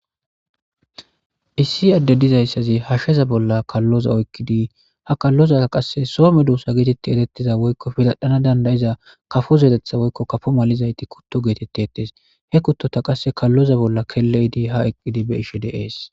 issi adde dizayssazi hashsheza bolla kalloza oykkidi ha kalloza qasse soome duussa geetetti etettiza woykko filadhana dandayiza kafo zeetetha woykko kafo mal7izayti kutto geetette ettes he kuttota qasse kalloza bolla kelle7idi ha eqqidi be ishe deees